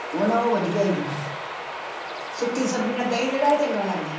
ਉਹ ਨਾ ਉਹ ਵਧੀਆ ਸੀ ਸੁੱਕੀ ਸਬਜ਼ੀਆਂ ਦਹੀਂ ਜਿਹੜਾ ਇਹ ਚੰਗਾ ਲੱਗਦਾ।